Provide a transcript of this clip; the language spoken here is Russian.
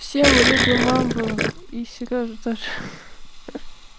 все мы любим мамбу и сережа тоже хи хи